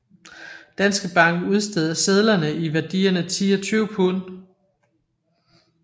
Danske Bank udsteder sedler i værdierne 10 og 20 pund